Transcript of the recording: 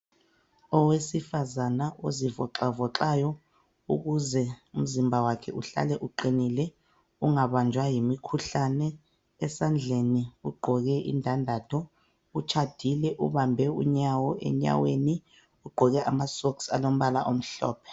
Owesifazana ozivoxavoxa ukuze umzimba wakhe uhlale uqinile ungabanjwa ngumkhuhlane esandleni ugqoke indandatho utshadile ubambe unyawo enyaweni ugqoke amasox alombala omhlophe.